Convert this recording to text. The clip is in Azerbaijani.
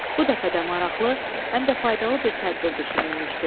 Bu dəfə də maraqlı, həm də faydalı bir tədbir düşünülmüşdü.